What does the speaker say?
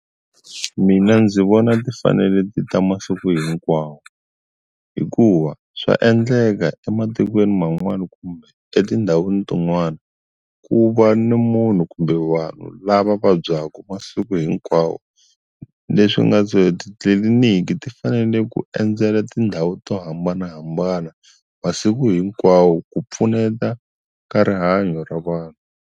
Mina ndzi vona ti fanele ti ta masiku hinkwawo hikuva swa endleka ematikweni man'wana kumbe etindhawini tin'wana ku va ni munhu kumbe vanhu lava vabyaka masiku hinkwawo leswi nga titliliniki ti fanele ku endzela tindhawu to hambanahambana masiku hinkwawo ku pfuneta ka rihanyo ra vanhu.